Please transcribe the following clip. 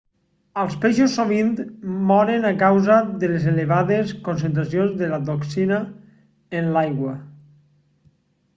els peixos sovint moren a causa de les elevades concentracions de la toxina en l'aigua